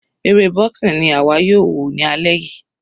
Eré boxing ni àwa yóò wò ní alẹ́ yìí.